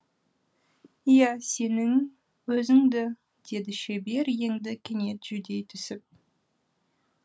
иә сенің өзіңді деді шебер енді кенет жүдей түсіп